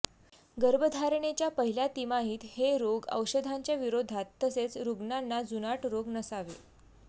गर्भधारणेच्या पहिल्या तिमाहीत हे रोग औषधांच्या विरोधात तसेच रुग्णांना जुनाट रोग नसावे